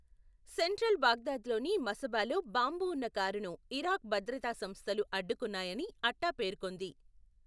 Central బాగ్దాద్లోని మసబాలో bomb ఉన్న కారును ఇరాక్ భద్రతా సంస్థలు అడ్డుకున్నాయని అట్టా పేర్కొంది.